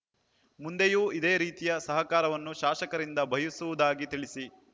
ಮುಂದೆಯೂ ಇದೇ ರೀತಿಯ ಸಹಕಾರವನ್ನು ಶಾಸಕರಿಂದ ಬಯಸುವುದಾಗಿ ತಿಳಿಸಿ